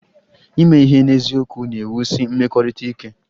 Ime ihe n'eziokwu na-ewusi mmekọrịta ike